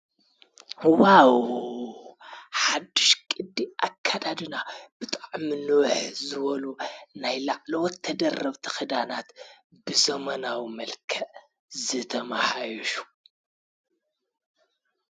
ዋው! ሓዱሽ ቅዲ ኣከዳድና ብጣዕሚ ንውሕ ዝበሉ ናይ ላዕለዎት ተደረብቲ ክዳናት ብዘመናዊ መልክዕ ዝተምሓየሹ።